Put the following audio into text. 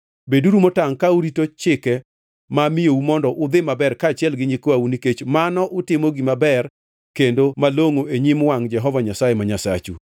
Beduru motangʼ ka urito chike ma amiyou mondo udhi maber kaachiel gi nyikwau nikech mano utimo gima ber kendo malongʼo e nyim wangʼ Jehova Nyasaye ma Nyasachu.